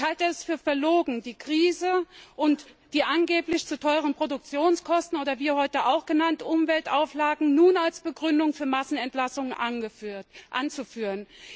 Ich halte es für verlogen, die Krise und die angeblich zu hohen Produktionskosten oder wie heute auch genannt Umweltauflagen nun als Begründung für Massenentlassungen anzuführen.